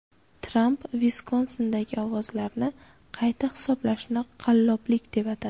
Tramp Viskonsindagi ovozlarni qayta hisoblashni qalloblik deb atadi.